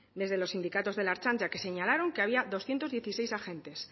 desde los sindicatos de la ertzaintza que señalaron que había doscientos dieciséis agentes